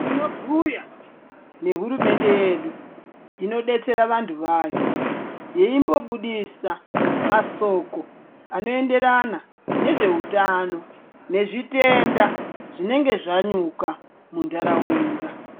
Tinobhuya nehurumende yedu inodetsera vanthu vayo yeimbobudisa masoko anoenderana nezveutano nezvitenda zvinenge zvanyuka muntharaunda.